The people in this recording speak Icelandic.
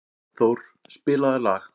Oddþór, spilaðu lag.